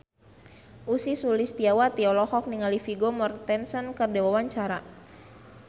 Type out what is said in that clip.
Ussy Sulistyawati olohok ningali Vigo Mortensen keur diwawancara